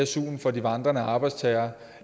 suen for de vandrende arbejdstagere